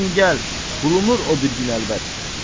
Sən gəl, bulunur o bir gün əlbət.